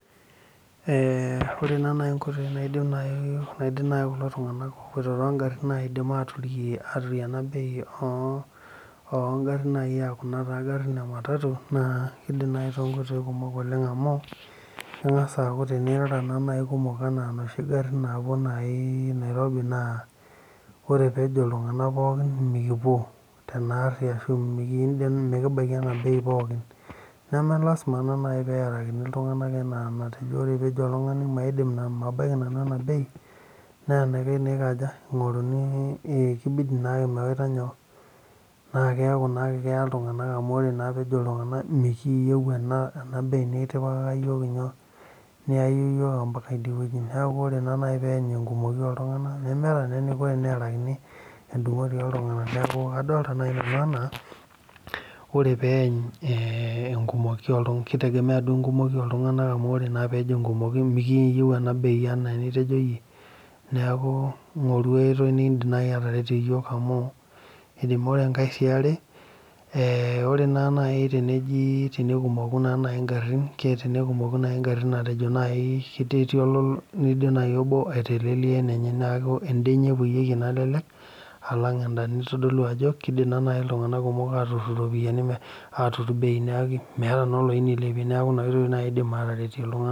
Eeh ore naa naaji inkoitoi naaidim kulo tung'anak oopuoito toongarin aaturia ena bei aa kuna garin ematatu keidim naaji toonkoitoi kumok amu keng'as aaku tenirara naaji kumok enaa inoshi garin naapuo naaji Nairobi naa tenejo iltung'anak mikipuo tenaari ashuu miki baiki ena bei pookin neme lasima naaji peerakini ore peejo oltung'ani mabaiki nanu ena bei naa enaikash naa ekaja ening'oruni naa keeku naa ake keya iltung'anak amu ore naa peejo iltung'anak mikiiyieu ena bei nitipikaka iyiok inyoo niyaie iyiol ombaka idie neeku ore naaji peeyany enkumoi ooltung'anak nemeeta naa eneiko teneerakini endung'oti ooltung'anak neeku adolita naaji nanu enaa ore peeny enkumoi ooltung'anak keitegemeya duo enkumoi ooltung'anak amu ore naa peejo enkumoi miikiyieu ena bei enaa enitejo iyie neeku ing'oru aai oitoi naaji nindiim ataretie iyiok amu ore sii enkae yaare ore naaji tenekumoku naa naaji ingarin otenekumoku naaji ingarin matejo naaji ketii neidim obo aitelelia enenye neeku endaa enye epuoieki enalelek alang enda neitodolu ajo keidim naaji iltung'anak atudung bei neeki meeta naa oloyiey neilepie neeku nena oitoii naaji eeidim aataretie iltung'anak.